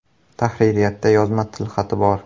(Tahririyatda yozma tilxati bor).